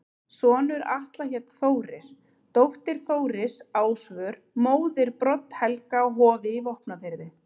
Sonur Atla hét Þórir, dóttir Þóris Ásvör, móðir Brodd-Helga á Hofi í Vopnafirði.